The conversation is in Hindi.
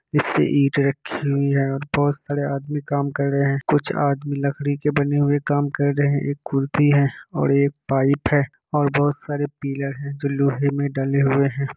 इसपे ईट रखी हुई है और बहुत सारे आदमी काम कर रहे है कुछ आदमी लकड़ी के बने हुए काम कर रहे है एक कुर्सी है और एक पाइप है और बहुत सारे पिलर है जो लोहे मे डले हुए है।